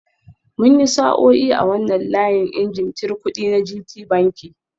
Mun yi sa'o'i a wannan layin injin cir kudi na Gtbanki